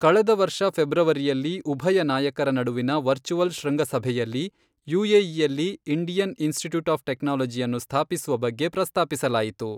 ಕಳೆದ ವರ್ಷ ಫೆಬ್ರವರಿಯಲ್ಲಿ, ಉಭಯ ನಾಯಕರ ನಡುವಿನ ವರ್ಚುವಲ್ ಶೃಂಗಸಭೆಯಲ್ಲಿ, ಯುಎಇಯಲ್ಲಿ ಇಂಡಿಯನ್ ಇನ್ಸ್ಟಿಟ್ಯೂಟ್ ಆಫ್ ಟೆಕ್ನಾಲಜಿಯನ್ನು ಸ್ಥಾಪಿಸುವ ಬಗ್ಗೆ ಪ್ರಸ್ತಾಪಿಸಲಾಯಿತು.